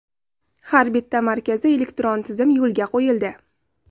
Har bitta markazda elektron tizim yo‘lga qo‘yildi.